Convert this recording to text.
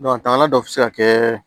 taga dɔ bɛ se ka kɛ